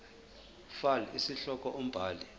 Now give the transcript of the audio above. fal isihloko umbhali